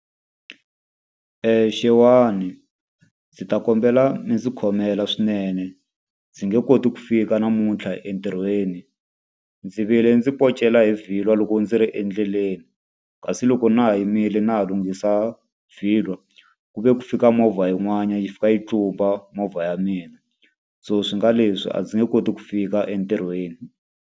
Xewani. Ndzi ta kombela mi ndzi khomela swinene. Ndzi nge koti ku fika namuntlha entirhweni. Ndzi vile ndzi poncela hi vhilwa loko ndzi ri endleleni, kasi loko na ha yimile na ha lunghisa vhilwa ku ve ku fika movha yin'wanyana yi fika yi tlumba movha ya mina. So swi nga leswi a ndzi nge koti ku fika entirhweni.